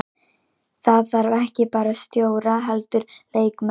Það þarf ekki bara stjóra heldur leikmenn.